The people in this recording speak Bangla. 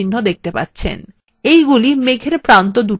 এগুলি মেঘ এর প্রান্তদুটি নির্দেশ করে